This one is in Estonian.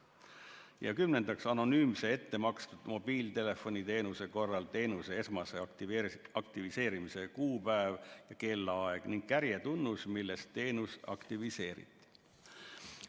Ja kümnendaks, anonüümse ettemakstud mobiiltelefoniteenuse korral teenuse esmase aktiviseerimise kuupäev ja kellaaeg ning kärjetunnus, milles teenus aktiviseeriti.